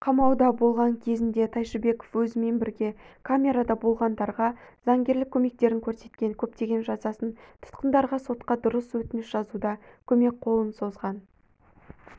қамауда болған кезінде тайшыбеков өзімен бірге камерада болғандарға заңгерлік көмектерін көрсеткен көптеген жазасын тұтқындарға сотқа дұрыс өтініш жазуда көмек қолын созған